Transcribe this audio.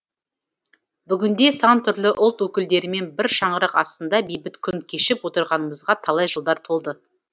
бүгінде сан түрлі ұлт өкілдерімен бір шаңырақ астында бейбіт күн кешіп отырғанымызға талай жылдар толды